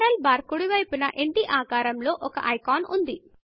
URL bar కుడి వైపున ఇంటి ఆకారంలో ఒక ఐకాన్ ఉంది